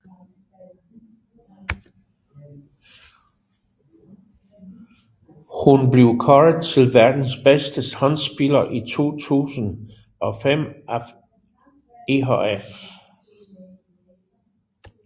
Hun blev kåret til verdens bedste håndboldspiller i 2005 af IHF